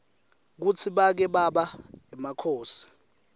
kutsi bake baba emakhosi